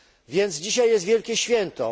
Więc dzisiaj jest wielkie święto.